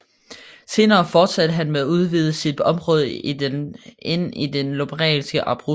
Senere fortsatte han med at udvide sit område ind i det lombardiske Abruzzo